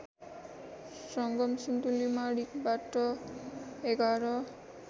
सङ्गम सिन्धुलीमाढीबाट ११